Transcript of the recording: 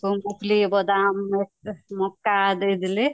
ବାଦାମ, ମକା ଦେଇଦେଲେ